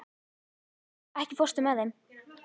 Lokbrá, ekki fórstu með þeim?